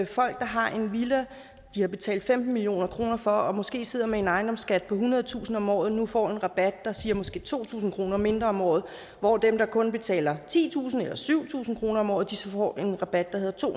folk der har en villa de har betalt femten million kroner for og måske sidder med en ejendomsskat på ethundredetusind kroner om året nu får en rabat der siger måske to tusind kroner mindre om året hvor dem der kun betaler titusind kroner eller syv tusind kroner om året så får en rabat der hedder to